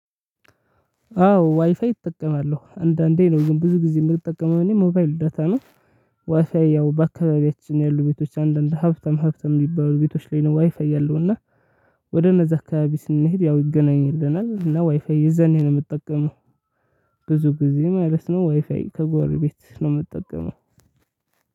አዎ ዋይፋይ እጠቀማለሁ አንዳንዴ ነው ግን ብዙ ጊዜ የምጠቀመው እኔ ሞባይል ደታ ነው። ዋይፋይ ያው በአካባቢያችን ያሉ ቤቶች አንዳንድ ሀብታም ሀብታም የሚባሉ ቤቶች ላይ ነው ዋይፋይ ያለው እና። ወደ እነዛ አካባቢ ስንሄድ ያው ይገናኝልናል እና ዋይፋይ የዛኔ ነው የምጠቀመው። ብዙ ጊዜ ማለት ነው ዋይፋይ ከጎርቤት ነው የምጠቀመው።